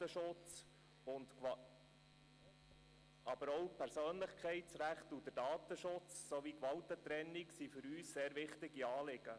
Aber auch die Persönlichkeitsrechte, der Datenschutz sowie die Gewaltentrennung sind für uns sehr wichtige Anliegen.